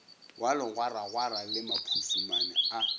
wa legwaragwara le maphusumane a